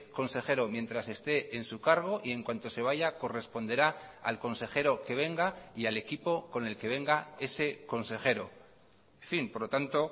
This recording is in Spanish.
consejero mientras esté en su cargo y en cuanto se vaya corresponderá al consejero que venga y al equipo con el que venga ese consejero en fin por lo tanto